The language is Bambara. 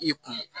I kun